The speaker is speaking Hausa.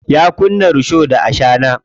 Ya kunna risho da ashana.